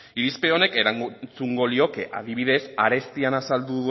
irizpide honek erantzungo lioke adibidez arestian azaldu